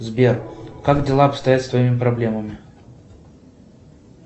сбер как дела обстоят с твоими проблемами